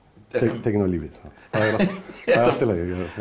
tekinn af lífi það er allt í lagi